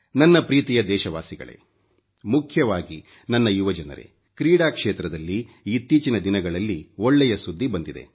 ನನ್ನ ಪ್ರೀತಿಯ ದೇಶವಾಸಿಗಳೇ ಮುಖ್ಯವಾಗಿ ನನ್ನ ಯುವ ಜನರೇಕ್ರೀಡಾ ಕ್ಷೇತ್ರದಲ್ಲಿ ಇತ್ತೀಚಿನ ದಿನಗಳಲ್ಲಿ ಒಳ್ಳೆಯ ಸುದ್ದಿ ಬಂದಿದೆ